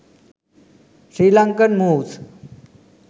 sirlankan moves